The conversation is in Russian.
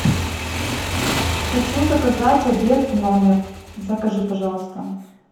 хочу заказать обед в номер закажи пожалуйста